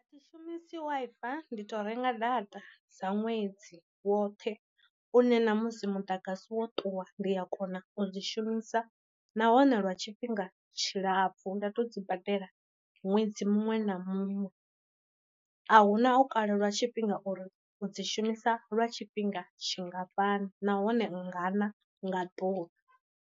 Thi shumisi wi fi ndi to renga data sa ṅwedzi woṱhe une ṋamusi muḓagasi wo ṱuwa ndi a kona u dzi shumisa nahone lwa tshifhinga tshilapfu nda to dzi badela ṅwedzi muṅwe na muṅwe, a hu na u kalelwa tshifhinga uri u dzi shumisa lwa tshifhinga tshingafhani nahone nga na nga ḓuvha.